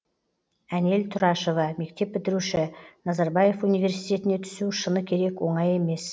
әнел тұрашева мектеп бітіруші назарбаев университетіне түсу шыны керек оңай емес